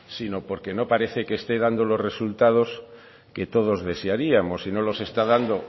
sino porque no parece que esté dando los resultados que todos desearíamos y no los está dando